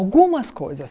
Algumas coisas.